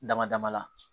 Dama dama la